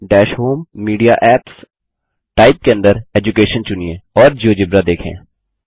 दश होम जीटीजीटीमीडिया एप्सग्टगटंडर टाइप जीटीजीटीचूज एडुकेशंगटीजीटी और जियोजेब्रा देखें